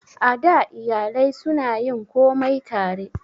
A da, iyalai su na yin komai tare